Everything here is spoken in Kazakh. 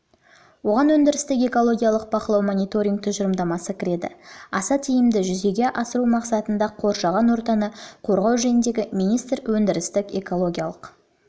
оған өндірістік экологиялық бақылау мониторинг тұжырымдамасы кіреді аса тиімді жүзеге асыру мақсатында қоршаған ортаны қорғау жөніндегі министр өндірістік экологиялық